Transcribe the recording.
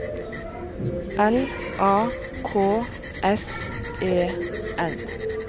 L A K S E N